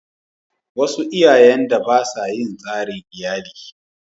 Wasu iyayen da ba sa yi tsarin iyali.